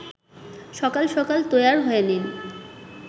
সকাল সকাল তৈয়ার হয়ে নিন